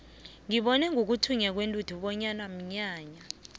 ngibone ngokuthunya kwentuthu bona mnyanya